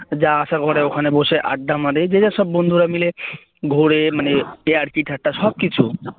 যা আসে ওখানে বসে আড্ডা মারে এরা সব বন্ধুরা মিলে ঘোরে মানে ইয়ার্কি ঠাট্টা সব কিছু